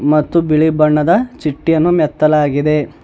ಮತ್ತು ಬಿಳಿ ಬಣ್ಣದ ಚಿಟ್ಟಿಯನ್ನು ಮೆತ್ತಲಾಗಿದೆ.